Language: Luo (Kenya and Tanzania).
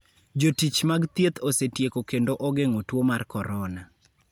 Jotich mag thieth osetieko kendo ogeng'o tuo mar corona.